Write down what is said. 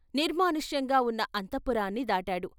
నిర్మానుష్యంగా ఉన్న అంతఃపురాన్ని దాటాడు.